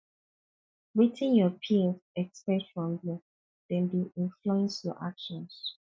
wetin your peers expect from you dem dey influence your actions